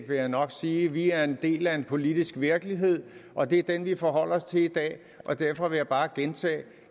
vil jeg nok sige vi er en del af en politisk virkelighed og det er den vi forholder os til i dag derfor vil jeg bare gentage